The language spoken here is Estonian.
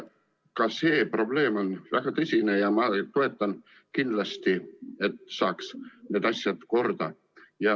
Ka see probleem on väga tõsine ja ma toetan kindlasti, et saaks need asjad korda.